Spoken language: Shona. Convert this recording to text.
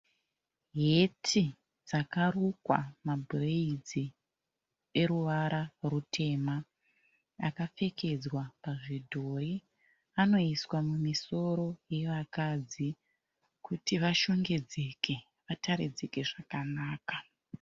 Heti dzakarukwa ma bhureidzi eruwara rutema, akapfekedzwa pázvidhori anoiswa mumisoro yevakadzi, kuti vashongedzeke vataridzike zvakanaka.